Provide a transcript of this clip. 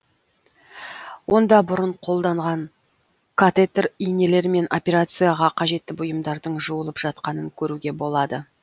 онда бұрын қолданылған катетер инелер мен операцияға қажетті бұйымдардың жуылып жатқанын көруге болады